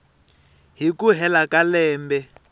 hi ku hela ka lembe